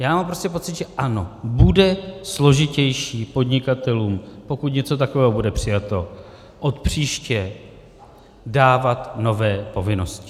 Já mám prostě pocit, že ano, bude složitější podnikatelům, pokud něco takového bude přijato, od příště dávat nové povinnosti.